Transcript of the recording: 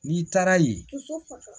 N'i taara yen